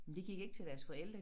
De gik ikke til deres forældre